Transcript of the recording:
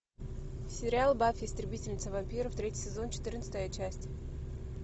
сериал баффи истребительница вампиров третий сезон четырнадцатая часть